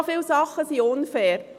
So viele Dinge sind unfair.